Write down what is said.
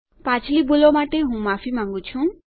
પાછલી ભૂલો માટે હું માફી માંગું છું